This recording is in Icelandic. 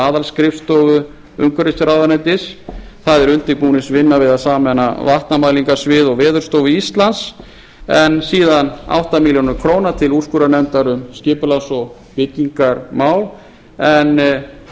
aðalskrifstofu umhverfisráðuneytis það er undirbúningsvinna við að samræma vatnamælingasvið og veðurstofu íslands en síðan átta milljónir króna til úrskurðarnefndar um skipulags og byggingarmál en